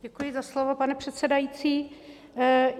Děkuji za slovo, pane předsedající.